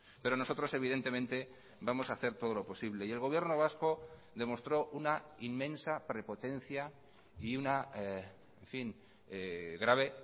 pero nosotros evidentemente vamos a hacer todo lo posible y el gobierno vasco demostró una inmensa prepotencia y una en fin grave